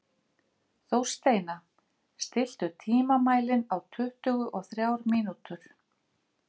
Þórsteina, stilltu tímamælinn á tuttugu og þrjár mínútur.